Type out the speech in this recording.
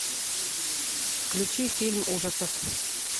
включи фильм ужасов